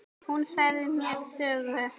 Hún sagði mér sögur.